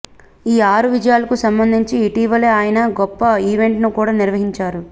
ఈ ఆరు విజయాలకు సంబంధించి ఇటీవలే ఆయన గొప్ప ఈవెంట్ని కూడా నిర్వహించారు